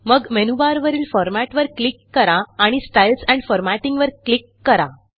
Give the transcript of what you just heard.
मग मेनूबारवरील Formatवर क्लिक करा आणि स्टाईल्स एंड Formattingवर क्लिक करा